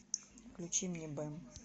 включи мне бэм